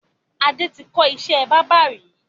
Adé tí kọ́ ìṣẹ́ báábà ri